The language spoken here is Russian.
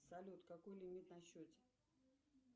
салют какой лимит на счете